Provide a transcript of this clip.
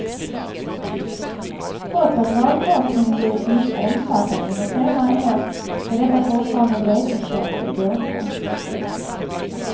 Trots att valforskningen blivit mycket omfattande under senare år är detta fortfarande en vetenskaplig gåta.